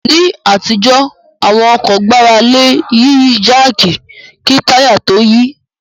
Ní àtijọ́ àwọn ọkọ̀ gbára lé Yíyí jáàkì kí táyà tó yí